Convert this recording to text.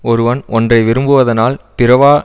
ஒருவன் ஒன்றை விரும்புவதனால் பிறவா